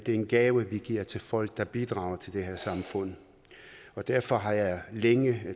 en gave vi giver til folk der bidrager til det her samfund derfor har jeg længe